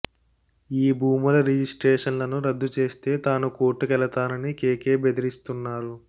ఈ భూముల రిజిసే్ట్రషన్లను రద్దు చేస్తే తాను కోర్టుకెల్లానని కెకె బెదిరిస్తున్నారు